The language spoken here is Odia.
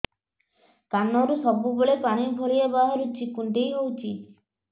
କାନରୁ ସବୁବେଳେ ପାଣି ଭଳିଆ ବାହାରୁଚି କୁଣ୍ଡେଇ ହଉଚି